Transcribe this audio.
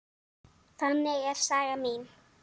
Þannig er saga mín.